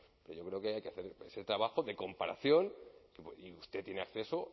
pero yo creo que ahí hay que hacer ese trabajo de comparación y usted tiene acceso